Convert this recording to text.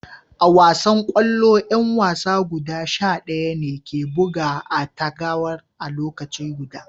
A wasan kwallo, yan wasa guda sha daya ne ke buga a'tagawar a'lokaci guda.